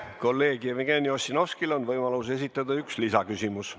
Kolleeg Jevgeni Ossinovskil on võimalus esitada üks lisaküsimus.